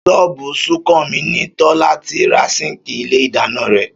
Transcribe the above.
Ṣọ́ọ̀bù Súnkànmí ni Tọ́lá ti ra síǹkì ilé ìdáná rẹ̀